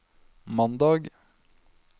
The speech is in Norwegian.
mandag